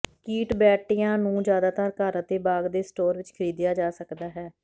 ਕੀਟ ਬੈਟਿਆਂ ਨੂੰ ਜ਼ਿਆਦਾਤਰ ਘਰ ਅਤੇ ਬਾਗ ਦੇ ਸਟੋਰ ਵਿਚ ਖਰੀਦਿਆ ਜਾ ਸਕਦਾ ਹੈ